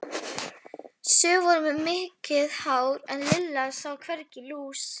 Sum voru með mikið hár en Lilla sá hvergi lús.